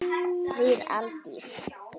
Þín Aldís.